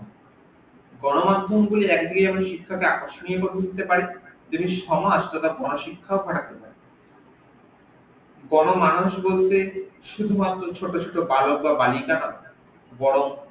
গনো মাধ্যম গুলি একদিকে যেমন শিক্ষাকে কে আকর্ষণ করে তুলতে পারে যদি সমাজ তথা গন শিক্ষক কে গন মানুষ বলতে শুধু মাত্র ছোট ছোট বালক বা বালিকা না বরং